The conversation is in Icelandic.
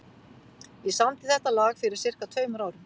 Ég samdi þetta lag fyrir sirka tveimur árum.